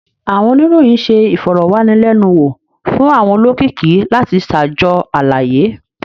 Awọn oniroyin ṣe ifọrọwanilẹnuwo fun awọn olokiki lati ṣajọ alaye.